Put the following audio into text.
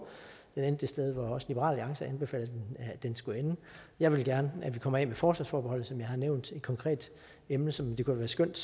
den endte det sted hvor også liberal alliance anbefalede at den skulle ende jeg vil gerne have at vi kommer af med forsvarsforbeholdet som jeg har nævnt som et konkret emne som det kunne være skønt